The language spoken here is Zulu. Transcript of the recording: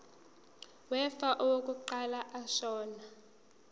wefa owaqokwa ashona